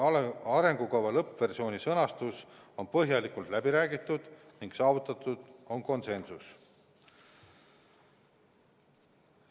Arengukava lõppversiooni sõnastus on põhjalikult läbi räägitud ning saavutatud on konsensus.